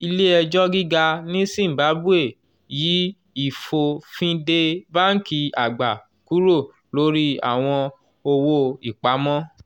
ilé ẹjọ́ gíga ní zimbabwe yí ìfòfindè báńkì àgbà kúrò lórí àwọn owó-ìpamọ́